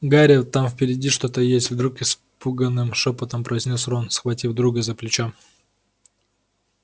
гарри там впереди что-то есть вдруг испуганным шёпотом произнёс рон схватив друга за плечо